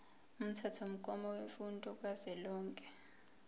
umthethomgomo wemfundo kazwelonke